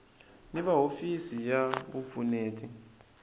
ni va hofisi ya vupfuneti